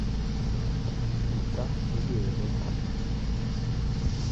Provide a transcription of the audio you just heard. Kitokikerei.